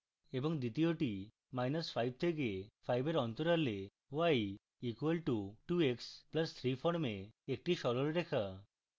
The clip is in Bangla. এবং দ্বিতীয়টি মাইনাস 5 থেকে 5 এর interval y = 2x + 3 form একটি সরলরেখা